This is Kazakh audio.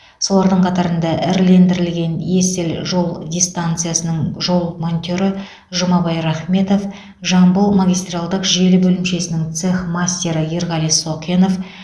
солардың қатарында ірілендірілген есіл жол дистанциясының жол монтері жұмабай рахметов жамбыл магистралдық желі бөлімшесінің цех мастері ерғали соқенов